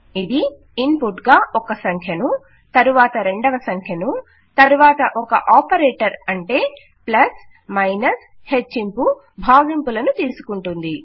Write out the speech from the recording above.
ఇది ఇన్పుట్ గా ఒక సంఖ్యను తరువాత రెండవ సంఖ్యను తరువాత ఒక ఆపరేటర్ అంటే ప్లస్ మైనస్ హెచ్చింపు భాగింపులను తీసుకుంటుంది